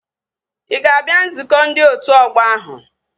Ị ga-abịa nzukọ ndị otu ọgbọ ahụ?